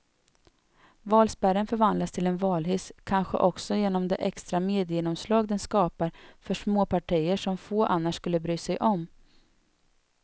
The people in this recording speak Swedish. Valspärren förvandlas till en valhiss, kanske också genom det extra mediegenomslag den skapar för småpartier som få annars skulle bry sig om.